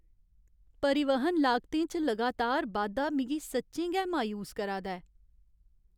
परिवहन लागतें च लगातार बाद्धा मिगी सच्चें गै मायूस करा दा ऐ।